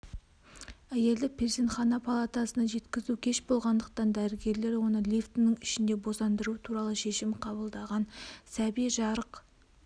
әйелді перзентхана палатасына жеткізу кеш болғандықтан дәрігерлер оны лифтінің ішінде босандыру туралы шешім қабылдаған сәби жарық